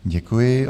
Děkuji.